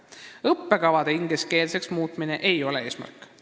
Õppekavade ingliskeelseks muutmine ei ole eesmärk.